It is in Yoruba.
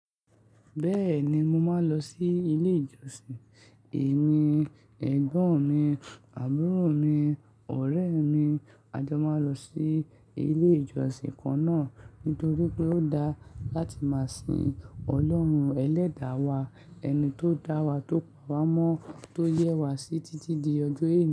Bẹ́ẹ̀ni mo máa ń lọ sí ilé ìjọsìn. Èmi, ẹ̀gbọ́n mi, àbúrò mi, ọ̀rẹ́ mi a jọ máa lọ sí ilé ìjọsìn kan náà. Nítorí pé ó dáa láti máa sìn Ọlọ́run Ẹlẹ́da wa, ẹni tó dá wa, tó pa wa mọ́, tó yẹ wa sí títí di ọjọ́ èní.